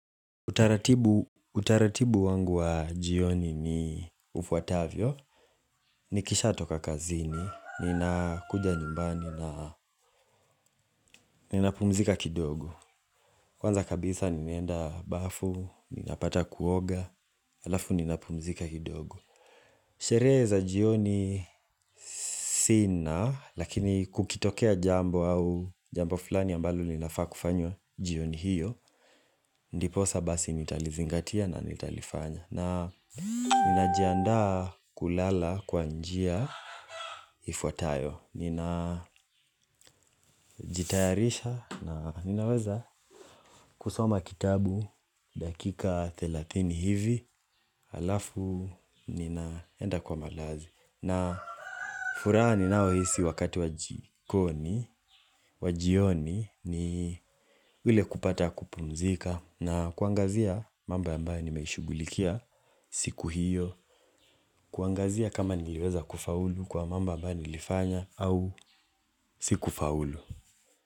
Utaratibu wangu wa jioni ni ufuatavyo. Nikisha toka kazini, ninakuja nyumbani na ninapumzika kidogo. Kwanza kabisa ninaenda bafu, ninapata kuoga, halafu ninapumzika kidogo. Sherehe za jioni sina, lakini kukitokea jambo au jambo fulani ambalo linafaa kufanywa jioni hiyo, ndiposa basi nitalizingatia na nitalifanya. Na ninajiandaa kulala kwa njia ifuatayo, ninajitayarisha na ninaweza kusoma kitabu dakika thelathini hivi. Halafu ninaenda kwa malazi. Na furaha ninayohisi wakati wa jikoni, wa jioni ni ule kupata kupumzika na kuangazia mambo ambayo nimeishughulikia siku hiyo. Kuangazia kama nimeweza kufaulu kwa mambo ambayo nilifanya au sikufaulu.